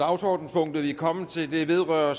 punktet vi er kommet til vedrører